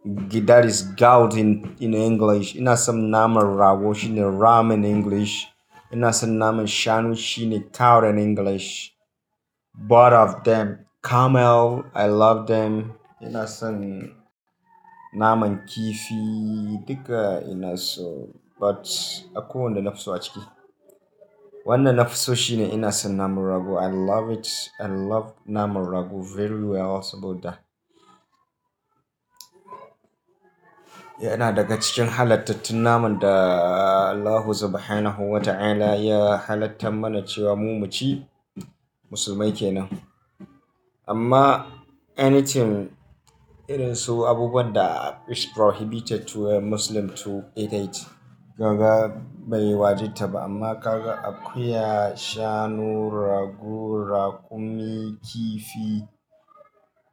Gidaris garden in English. Ina son naman rago shine ram in English. Ina son naman shanu shine cow in English. Both of them camel I love them. Ina son naman kifi duka ina so but akwai wanda nafi so a ciki. Wanda nafi so shine ina son naman rago. I love it. I love naman rago very well saboda. Yana daga cikin halattatun naman da Allahu subhanahu wa ta'ala ya halattan mana cewa mu mu ci. Musulmai kenan. Amma anything irin su abubuwan da is prohibited to a Muslim to eat it. Yawwa bai wajibta ba amma kaga akuya, shanu, rago, raƙumi, kifi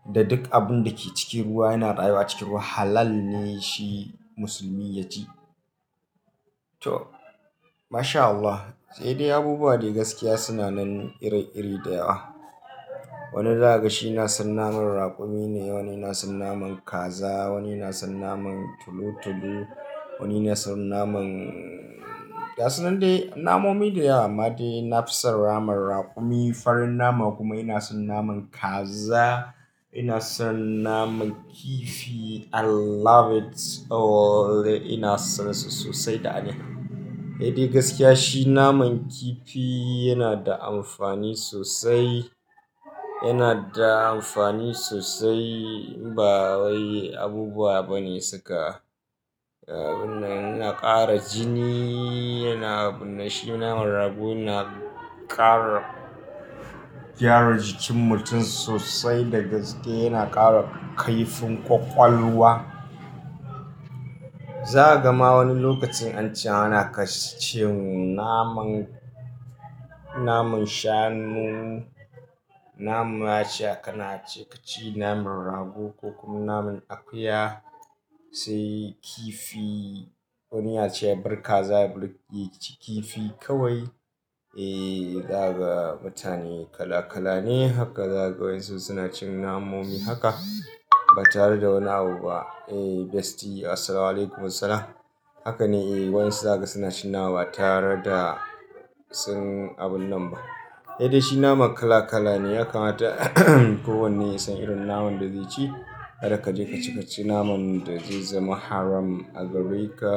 da duk abun da ke cikin ruwa yana rayuwa cikin ruwa halal ne shi musulmi ya ci. To, masha Allah. Sai dai abubuwa dai gaskiya suna nan iri-iri da yawa. Wani zaka ga shi ina son naman raƙumi ne, wani ina son naman kaza, wani ina son naman tulu-tulu, wani ina son naman ga su nan dai namomi da yawa amma dai nafi son naman raƙumi. Farin nama kuma ina son naman kaza, ina son naman kifi. I love it all. Ina son su sosai da aniya. Eh dai gaskiya shi naman kifi yana da amfani sosai. Yana da amfani sosai ba wai abubuwa bane suka. Abun nan yana ƙara jini, yana abun nan, shi naman rago yana ƙara gyara jikin mutum sosai da gaske. Yana ƙara kaifin ƙwaƙwalwa. Za a ga ma wani lokacin an ce ana cin naman, naman shanu, nama ace aka na ce ka ci naman rago ko kuma naman akuya sai kifi wani ya ce ya bar kaza ya bar ya ci kifi kawai. Eh daga mutane kala-kala ne haka zaka ga wanƴajsu suna cin namomi haka ba tare da wani abu ba. Eh Bestie assalamualaikum warahmatullah. Haka ne eh waƴansu zaka ga suna cin nama ba tare da sun abun nan ba. Eh dai shi naman kala-kala ne ya kamata kowanne ya san irin naman da zai ci. Kada ka je ka ci, ka ci naman da zai zama haram a gare ka.